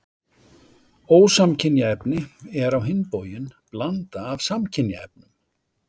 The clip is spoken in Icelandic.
Ósamkynja efni er á hinn bóginn blanda af samkynja efnum.